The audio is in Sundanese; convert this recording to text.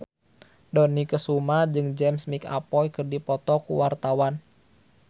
Dony Kesuma jeung James McAvoy keur dipoto ku wartawan